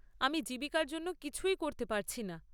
আমি জীবিকার জন্য কিছুই করতে পারছি না।